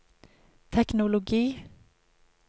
teknologi